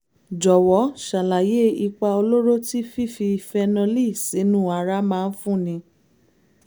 jọ̀wọ́ ṣàlàyé ipa olóró tí fífi fénólì sínú ara máa ń fúnni